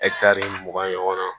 mugan ɲɔgɔn na